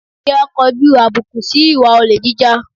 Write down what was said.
Kí á kọjú àbùkù si ìwà olè jíjà